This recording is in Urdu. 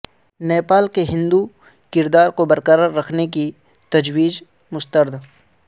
نیپال کے ہندو کردار کو برقرار رکھنے کی تجویز مسترد